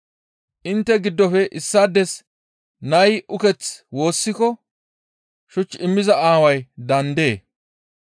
Intte giddofe issaades nay uketh woossiko shuch immiza aaway daandee?